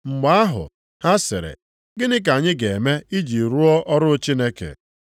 Mgbe ahụ, ha sịrị, “Gịnị ka anyị ga-eme iji rụọ ọrụ Chineke?”